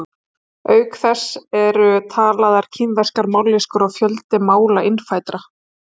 auk þess eru talaðar kínverskar mállýskur og fjöldi mála innfæddra